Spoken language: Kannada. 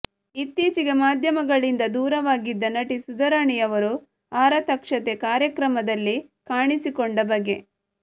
ಇತ್ತೀಚೆಗೆ ಮಾಧ್ಯಮಗಳಿಂದ ದೂರವಾಗಿದ್ದ ನಟಿ ಸುಧಾರಾಣಿ ಅವರು ಆರತಕ್ಷತೆ ಕಾರ್ಯಕ್ರಮದಲ್ಲಿ ಕಾಣಿಸಿಕೊಂಡ ಬಗೆ